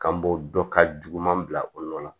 K'an bɔ dɔ ka juguman bila o yɔrɔ la